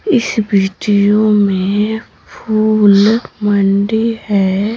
इस वीडियो में फूल मंडी है।